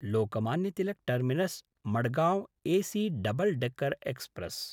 Lokmanya Tilak टर्मिनस्–मडगांव् AC double decker express